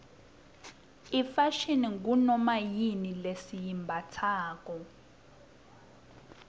ifashini ngunomayini lesiyimbatsalo